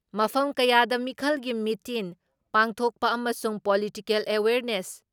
ꯃꯐꯝ ꯀꯌꯥꯗ ꯃꯤꯈꯜꯒꯤ ꯃꯤꯇꯤꯟ ꯄꯥꯡꯊꯣꯛꯄ ꯑꯃꯁꯨꯡ ꯄꯣꯂꯤꯇꯤꯀꯦꯜ ꯑꯦꯋꯦꯔꯅꯦꯁ